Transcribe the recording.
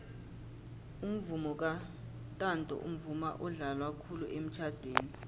umvomo kantanto mvumo odlalwa khulu emitjhadweni